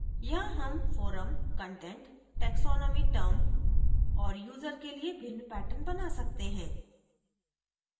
यहाँ term forum content taxonomy term और user के लिए भिन्न patterns बना सकते हैं